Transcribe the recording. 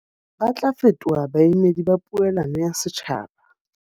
Ba tla fetoha baemedi ba poelano ya setjhaba.